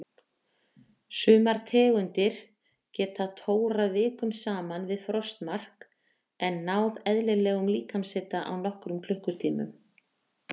Sumar tegundir geta tórað vikum saman við frostmark en náð eðlilegum líkamshita á nokkrum klukkutímum.